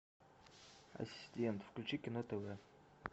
ассистент включи кино тв